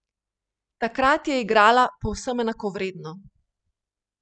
Takrat je igrala povsem enakovredno.